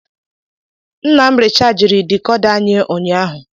Nna m richajiri dekoda anyị ụnyaahụ.